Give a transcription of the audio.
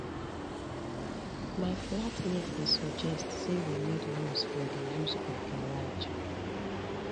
my flat mate dey suggest sey we need rules for di use of garage